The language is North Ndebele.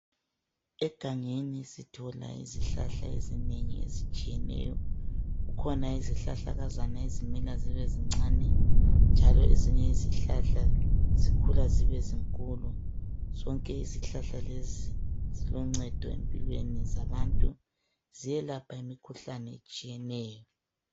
egangeni sithola izihlahla ezinengi ezitshiyeneyo kukhona izihlahlakazana ezimila zibe zincane njalo ezinye izihlahla zikhula zibe zinkulu zonke izihlahla lezi ziloncedo empilweni zabantu ziyelapha imikhuhlane etshiyeneyo